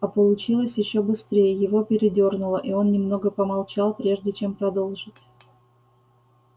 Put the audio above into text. а получилось ещё быстрее его передёрнуло и он немного помолчал прежде чем продолжить